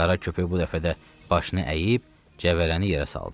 Qara köpək bu dəfə də başını əyib cəvərəni yerə saldı.